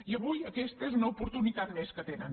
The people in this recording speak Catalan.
i avui aquesta és una oportunitat més que tenen